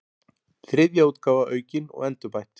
Þriðja útgáfa aukin og endurbætt.